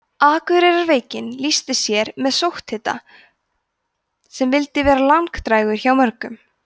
akureyrarveikin lýsti sér með sótthita sem vildi vera langdrægur hjá mörgum